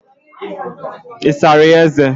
Isara ya eze?